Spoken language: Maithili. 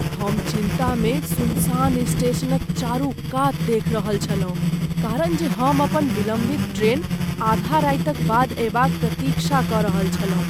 हम चिन्तामे सुनसान स्टेशनक चारू कात देखि रहल छलहुँ कारण जे हम अपन विलम्बित ट्रेन आधा रातिक बाद अएबाक प्रतीक्षा कऽ रहल छलहुँ।